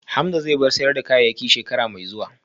Hamza zai bar sayar da kayayyaki shekara mai zuwa